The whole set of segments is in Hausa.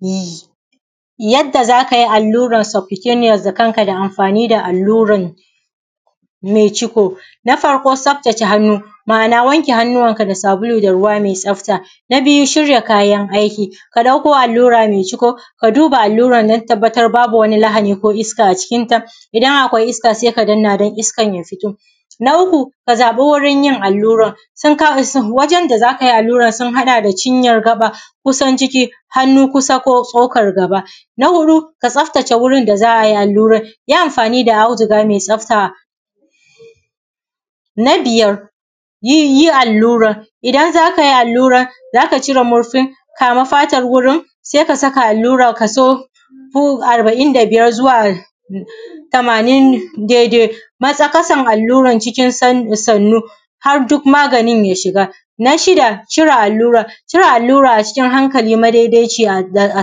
Yi yadda za kayi allurar sufoniyos da kanka da amfani da alluran ne ciko. Na farko tsaftace hannu ma’ana wanke hannunka da sabulu da ruwa mai tsafta. Na biyu shirya kayan aiki, ka ɗauko allura mai ciko ka duba alluran don tabbatar babu wani lahani ko iska a cikinta, idan akwai iska sai ka danna don iskan ya fito. Na uku ka zaɓi wurin yin alluran sun kawo wajen da za kai alluran sun haɗa da cinyar ƙafa kusan ciki, hannu kusa ko tsokar gaba. Na huɗu ka tsaftace wurin da za a yi allurar yi amfani da auduga mai tsafta. Na biyar yi allurar idan zaka yi allurar zaka cire murfin kama fatar wurin sai kasa allurar kaso arba’in da biyar zuwa tamanin daidai matsa ƙasar allurar cikin sannu, har duk maganin ya shiga. Na shida cire allurar, cire allura a cikin hankali maidaidaiciya da a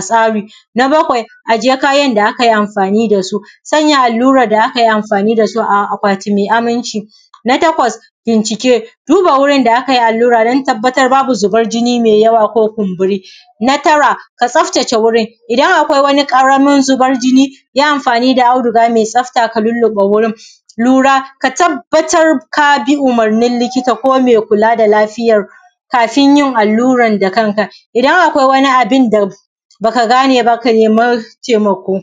tsari. Na bakwai ajiye kayan da aka yi amfani dasu, sanya allurar da akayi amfani da su a akwati mai aminci. Na takwas binciki, duba wurin da akayi allura don tabbatar babu zuban jini mai yawa ko kumburi. Na tara ka tsaftace wurin, in akwai wani ƙaramin zubar jini yi amfani da auduga mai tsafta ka luluɓa wurin. Lura ka tabbatar ka bi umurnin likita ko mai lafiyar kafin yin allurar da kanka. Idan akwai wani abinda baka gane ba ka nemi taimako.